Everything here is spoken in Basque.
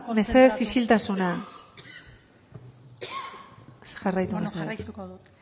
mesedez isiltasuna jarraitu mesedez ezin da kontzentratu jarraituko dut